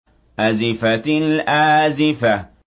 أَزِفَتِ الْآزِفَةُ